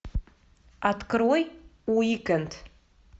открой уикенд